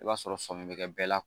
I b'a sɔrɔ sɔmi be kɛ bɛɛ la